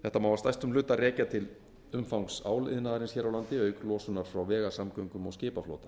þetta má að stærstum hluta rekja til umfangs áliðnaðarins hér á landi auk losunar frá vegasamgöngum og skipaflota